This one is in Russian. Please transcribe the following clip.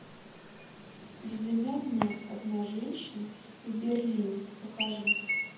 безымянная одна женщина в берлине покажи